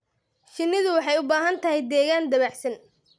Shinnidu waxay u baahan tahay deegaan dabacsan.